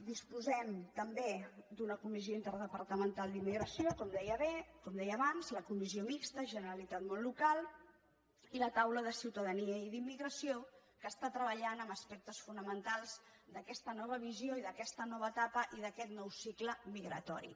disposem també d’una comissió interdepartamental d’immigració com deia abans la comissió mixta generalitat món local i la taula de ciutadania i d’immigració que està treballant en aspectes fonamentals d’aquesta nova visió i d’aquesta nova etapa i d’aquest nou cicle migratori